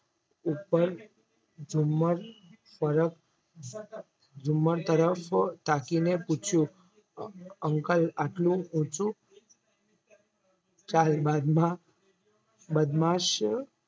ઉપર ઝુમ્મર તરફ ઝુમ્મર તરફ તાકીને પૂછ્યું Uncle આટલું ઊંચું ચાલ બાદમાં બદમાશ